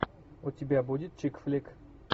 у тебя будет чик флик